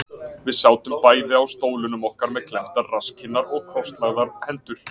Við sátum bæði á stólunum okkar með klemmdar rasskinnar og krosslagðar hendur.